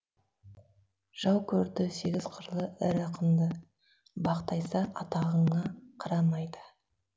жау көрді сегіз қырлы ірі ақынды бақ тайса атағыңа қарамайды